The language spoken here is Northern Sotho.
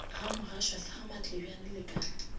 gamogashoa sa gamatlebjane le ka